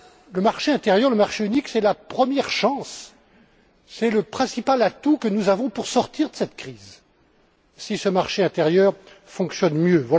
le marché intérieur, le marché unique, c'est la première chance, le principal atout que nous avons pour sortir de cette crise, si ce marché intérieur fonctionne mieux.